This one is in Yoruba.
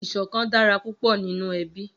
Iṣòkán dàrá púpò ninú èbí